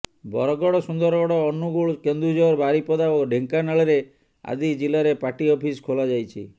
ବରଗଡ ସୁନ୍ଦରଗଡ ଅନୁଗୁଳ କେନ୍ଦୁଝର ବାରିପଦା ଓ ଢ଼େଙ୍କାନାଳରେ ଆଦି ଜିଲାରେ ପାର୍ଟି ଅଫିସ ଖୋଲାଯାଇଛି